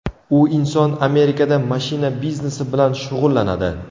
U inson Amerikada mashina biznesi bilan shug‘ullanadi.